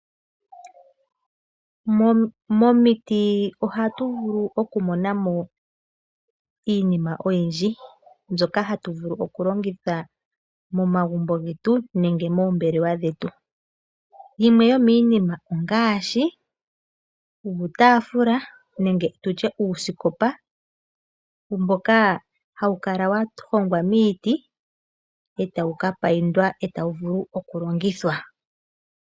Momiti ohatu vulu okumonamo iinima oyindji, mbyoka hatu vulu okulongitha momagumbo getu nenge moombelewa dhetu. Yimwe yomiinima ongaashi uutaafula nenge tutye uusikopa mboka hawu kala wahogwa miiti etawu kapaindwa etawu vulu okulongithwa.